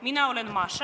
Mina olen Maša.